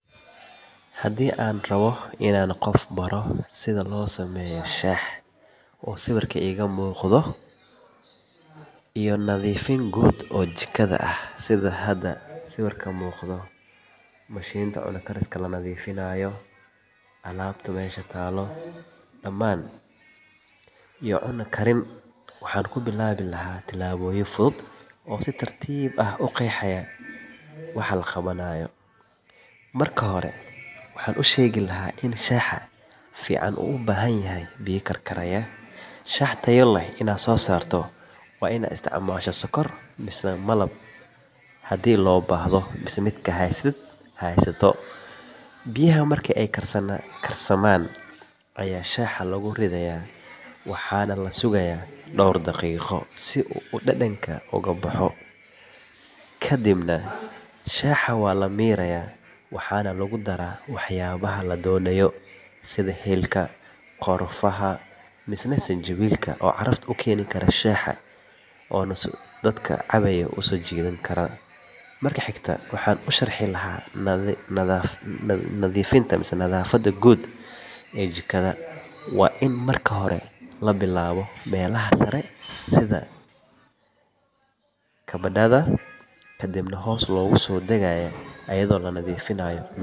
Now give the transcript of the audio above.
Haddii aan rabay in aan qof baro sida loo sameeyo shaah, nadiifin guud oo jikada ah, iyo cunto karinta, waxaan ku bilaabi lahaa tillaabooyin fudud oo si tartiib ah u qeexaya waxa la qabanayo. Marka hore, waxaan u sheegi lahaa in shaaha fiican uu u baahan yahay biyo karkaraya, shaah tayo leh, iyo sonkor ama malab haddii loo baahdo. Biyaha marka ay karsamaan ayaa shaaha lagu ridayaa waxaana la sugayaa dhowr daqiiqo si uu dhadhanka uga baxo. Kadibna shaaha waa la miiraa waxaana lagu daraa waxyaabaha la doonayo. Marka xigta, waxaan u sharxi lahaa nadiifinta guud ee jikada. Waa in marka hore la bilaabo meelaha sare sida kabadhada, kadibna hoos loogu soo degayaa iyadoo la nadiifinayo miisaska, sagxadaha, iyo dhammaan qalabka sida mashinka cunto kariska, foornada iyo gas-ka. Mashinka cunto kariska waa in laga saaraa wasakhda iyo cuntooyinka ku haray, loona isticmaalaa biyo kulul iyo saabuun jilicsan. Cunto karinta waxaan ku bari lahaa iyadoo laga bilaabo diyaarinta agabka, dhaqidda khudaarta iyo hilibka, kala soocidda wixii la isku dari doono, kadibna si tartiib ah ugu karinta heerkul ku habboon. Tallaabo kasta waxaan hubin lahaa in qofku fahmay kahor inta aan u gudbin midda xigta, si uu si wanaagsan ugu tababarto hawlaha maalinlaha ah ee jikada.